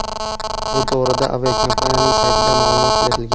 Bu to‘g‘rida aviakompaniyaning saytida ma’lumot berilgan .